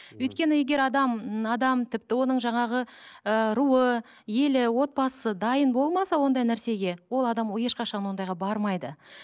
өйткені егер адам ммм адам тіпті оның жаңағы ыыы руы елі отбасы дайын болмаса ондай нәрсеге ол адам ешқашан ондайға бармайды